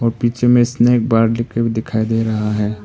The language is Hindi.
पीछे में स्नेक बार लिखा हुआ दिखाई दे रहा है।